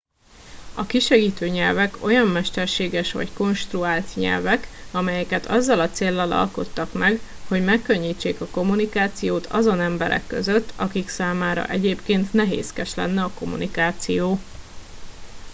a kisegítő nyelvek olyan mesterséges vagy konstruált nyelvek amelyeket azzal a céllal alkottak meg hogy megkönnyítsék a kommunikációt azon emberek között akik számára egyébként nehézkes lenne a kommunikáció